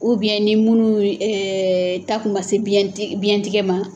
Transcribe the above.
ni minnu ta kun man se biyɛntigɛ ma.